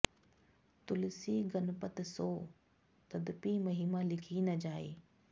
तुलसी गनपत सों तदपि महिमा लिखी न जाइ